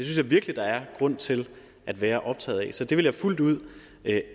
jeg virkelig der er grund til at være optaget af så det vil jeg fuldt ud